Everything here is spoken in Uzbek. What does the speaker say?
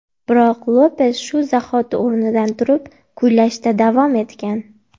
Biroq Lopes shu zahoti o‘rnidan turib, kuylashda davom etgan.